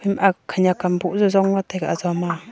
a khanyak kam boh jau jongla taiga ajo ma.